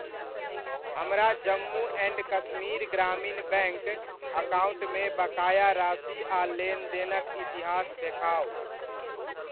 हमरा Jammu and Kashmir Grameen bank अकाउण्टमे बकाया राशि आ लेनदेनक इतिहास देखाउ।